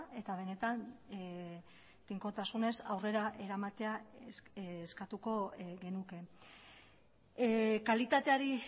eta benetan tinkotasunez aurrera eramatea eskatuko genuke kalitateari